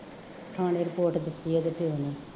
ਥਾਣੇ ਰਿਪੋਰਟ ਕੀਤੀ ਹੈ ਅਤੇ ਫੇਰ ਨਹੀਂ